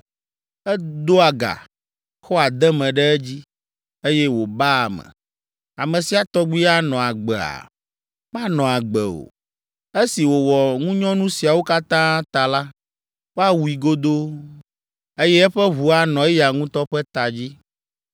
Edoa ga, xɔa deme ɖe edzi, eye wòbaa ame. Ame sia tɔgbi anɔ agbea? Manɔ agbe o. Esi wòwɔ ŋunyɔnu siawo katã ta la, woawui godoo, eye eƒe ʋu anɔ eya ŋutɔ ƒe ta dzi.